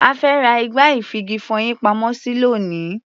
Ẹ fẹ́ ra igbá-ìfigi-ìfọyín-pamọ́-sí lónìí.